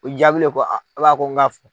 O jaabile ko n ko ga fɔ